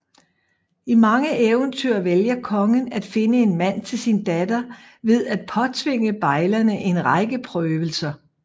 I mange eventyr vælger kongen at finde en mand til sin datter ved at påtvinge bejlerne en række prøvelser